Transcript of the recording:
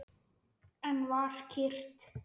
Enn var kyrrt.